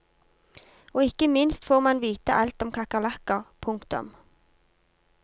Og ikke minst får man vite alt om kakerlakker. punktum